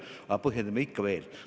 Aga põhjendame ikka veel!